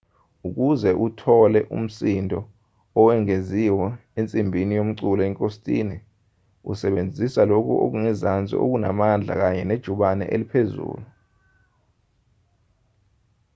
ukuze uthole umsindo owengeziwe ensimbini yomculo ingositini usebenzisa lokhu okungezansi okunamandla kanye nejubane eliphezulu